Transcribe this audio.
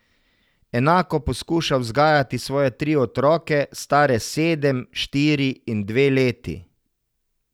Enako poskuša vzgajati svoje tri otroke, stare sedem, štiri in dve leti.